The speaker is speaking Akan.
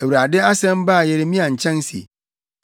Awurade asɛm baa Yeremia nkyɛn se: